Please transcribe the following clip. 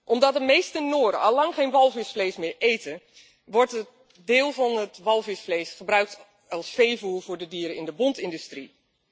Omdat de meeste Noren allang geen walvisvlees meer eten, wordt een deel van het walvisvlees gebruikt als veevoer voor de dieren in de bontindustrie.